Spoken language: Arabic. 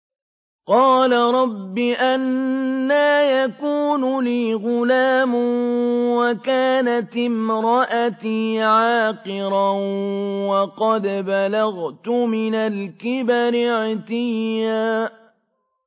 قَالَ رَبِّ أَنَّىٰ يَكُونُ لِي غُلَامٌ وَكَانَتِ امْرَأَتِي عَاقِرًا وَقَدْ بَلَغْتُ مِنَ الْكِبَرِ عِتِيًّا